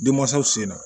Denmansaw senna